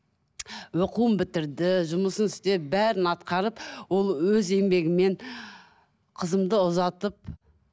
оқуын бітірді жұмысын істеп бәрін атқарып ол өз еңбегімен қызымды ұзатып